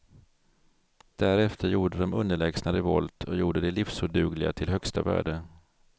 Därefter gjorde de underlägsna revolt och gjorde det livsodugliga till högsta värde.